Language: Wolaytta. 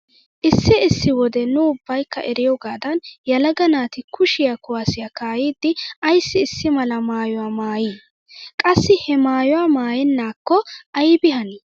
Issi issi wode nu ubbaykka eriyogaadan yelaga naati kushiya kuwaassiya kaa'iiddi ayssi issi mala maayuwa maayii? Qassi he maayuwa maayennaakko aybi hanii?